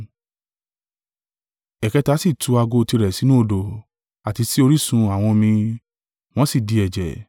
Ẹ̀kẹta sì tú ago tirẹ̀ sínú odò, àti sí orísun àwọn omi; wọ́n sì di ẹ̀jẹ̀.